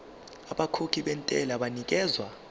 abakhokhi bentela banikezwa